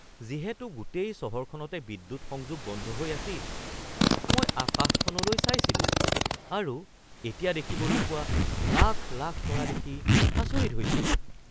যিহেতু গোটেই চহৰখনতে বিদ্যুৎ সংযোগ বন্ধ হৈ আছিল, মই আকাশখনলৈ চাইছিলোঁ আৰু এতিয়া দেখিবলৈ পোৱা লাখ লাখ তৰা দেখি আচৰিত হৈছিলোঁ।